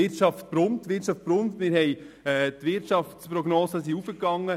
Die Wirtschaft brummt, und die Wirtschaftsprognosen sind gestiegen.